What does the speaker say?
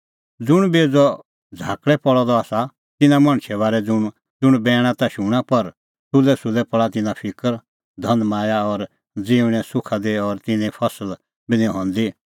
ज़ुंण बेज़अ झ़ाकल़ै पल़अ सह आसा तिन्नां मणछे बारै ज़ुंण बैण ता शूणां पर सुलैसुलै पल़ा तिन्नां फिकर धनमाया और ज़िऊंणें सुखा दी और तिन्नें फसल बी निं हंदी